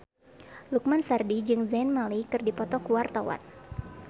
Lukman Sardi jeung Zayn Malik keur dipoto ku wartawan